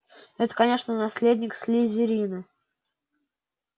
это конечно наследник слизерина